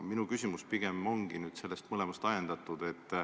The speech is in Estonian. Minu küsimus pigem ongi mõlemast teemast ajendatud.